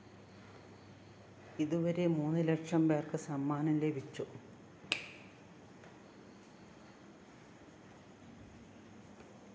ഇതുവരെ മൂന്നുലക്ഷം പേര്‍ക്ക് സമ്മാനം ലഭിച്ചു